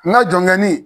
N ka jɔnkɛni